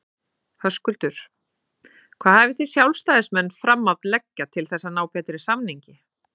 Höskuldur: Hvað hafið þið sjálfstæðismenn fram að leggja til þess að ná betri samningi?